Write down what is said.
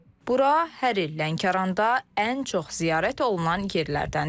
Bura hər il Lənkəranda ən çox ziyarət olunan yerlərdəndir.